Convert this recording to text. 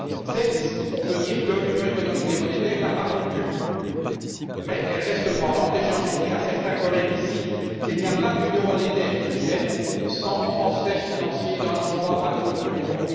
Certes, on peut dire que l'Union économique et monétaire n'a pas rompu, mais elle reste branlante, et j'ai envie de dire à certains collègues qu'il n'y a pas d'union monétaire qui tienne sans transferts financiers d'un endroit à l'autre de l'Union.